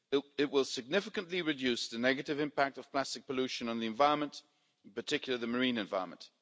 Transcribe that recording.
It will significantly reduce the negative impact of plastic pollution on the environment, in particular the marine environment.